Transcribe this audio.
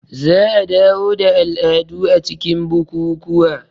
Za a dawo da al'adu a cikin bukukuwa